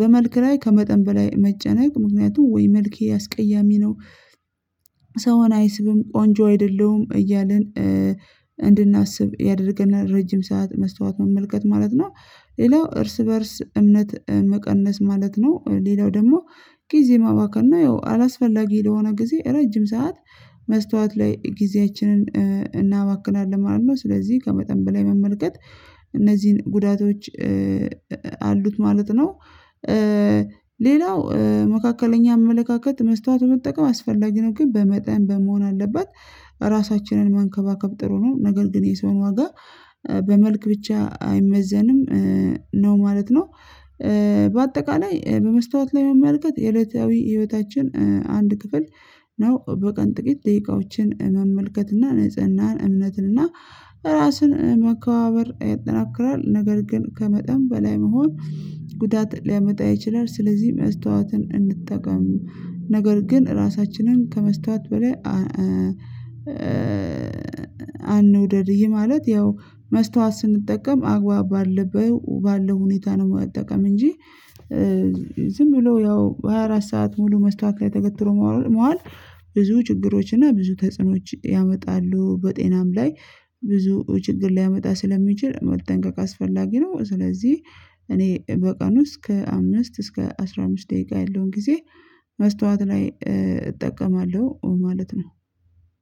በመልክ ላይ ከመጠን በላይ መጨነቅ ምክንያቱም ወይ መልኬ አስቀያሚ ነው ሰውን አይስብም ቆንጆ አይደለሁም እያልን እንድናስብ ያደርገናል ረጅም ሰዓት መስታወት መመልከት ማለት ነው። ሌላው እርስ በእርስ እምነት መቀነስ ማለት ነው። ሌላው ደግሞ ጊዜ ማባከን ነው። ያው አላስፈላጊ ለሆነ ጊዜ ረጅም ሰዓት መስታወት ላይ ጊዜያችንን እናባክናለን ማለት ነው። ስለዚህ ከመጠን በላይ መመልከት እነዚህን ጉዳቶች አሉት ማለት ነው። ሌላው መካከለኛ አመለካከት መስታወት በመጠቀም አስፈላጊ ነው ግን በመጠን በመሆን አለበት። ራሳችንን መንከባከብ ጥሩ ነው ነገር ግን የሰውን ዋጋ በመልክ ብቻ አይመዘንም ነው ማለት ነው። በአጠቃላይ በመስታወት ላይ መመልከት የዕለታዊ ህይወታችን አንድ ክፍል ነው። በቀን ጥቂት ደቂቃዎችን መመልከት እና ንጽህናን እምነትን እና ራስን መከባበር ያጠናክራል ነገር ግን ከመጠን በላይ መሆን ጉዳት ሊያመጣ ይችላል። ስለዚህ መስታወትን እንጠቀም ነገር ግን ራሳችንን ከመስታወት በላይ አንውደድ። ማለት ያው መስታወት ስንጠቀም አግባብ ባለበት ባለው ሁኔታ ነው። መጠቀም እንጂ ዝም ብሎ ያው ሃያ አራት ሰዓት ሙሉ መስታውት ላይ ተገትሮ መዋል ብዙ ችግሮች እና ብዙ ተጽዕኖዎች ያመጣሉ። በጤናም ላይ ብዙ ችግር ሊያመጣ ስለሚችል መጠንቀቅ አስፈላጊ ነው። ስለዚህ እኔ በቀን ውስጥ እስከ አምስት እስከ አስራ አምስት ደቂቃ ያለውን ጊዜ መስታወት ላይ እጠቀማለሁ ማለት ነው።